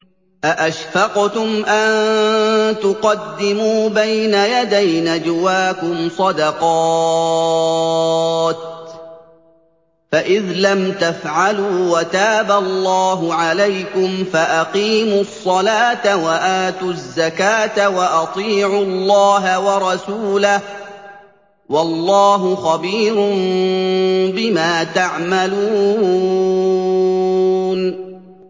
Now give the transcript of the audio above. أَأَشْفَقْتُمْ أَن تُقَدِّمُوا بَيْنَ يَدَيْ نَجْوَاكُمْ صَدَقَاتٍ ۚ فَإِذْ لَمْ تَفْعَلُوا وَتَابَ اللَّهُ عَلَيْكُمْ فَأَقِيمُوا الصَّلَاةَ وَآتُوا الزَّكَاةَ وَأَطِيعُوا اللَّهَ وَرَسُولَهُ ۚ وَاللَّهُ خَبِيرٌ بِمَا تَعْمَلُونَ